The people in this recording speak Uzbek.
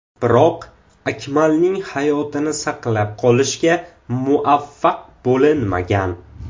Biroq Akmalning hayotini saqlab qolishga muvaffaq bo‘linmagan.